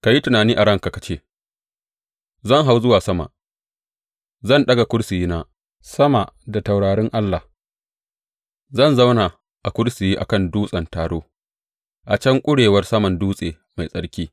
Ka yi tunani a ranka ka ce, Zan hau zuwa sama; zan ɗaga kursiyina sama da taurarin Allah; zan zauna a kursiyi a kan dutsen taro, a can ƙurewar saman dutse mai tsarki.